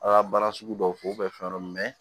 A ka baara sugu dɔw k'o fɛn dɔ mɛn